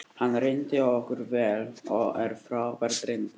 Hann reyndist okkur vel og er frábær drengur.